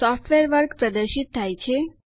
software વર્ગ પ્રદર્શિત થાય છે